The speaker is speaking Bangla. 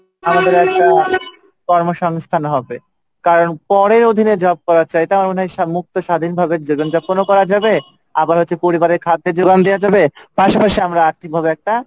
আমাদের একটা কর্ম সংস্থান হবে কারন স্বাধিনভাবে কর্ম করা যাবে আবার হচ্ছে পরিবারের খাদ্যে যোগান দেওয়া যাবে পাশাপাশি আমরা আর্থিকভাবে একটা,